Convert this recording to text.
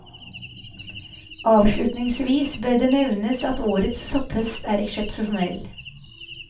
Avslutningsvis bør det nevnes at årets sopphøst er eksepsjonell.